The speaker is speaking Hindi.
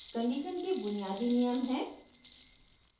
condition के बुनियादी नियम हैं: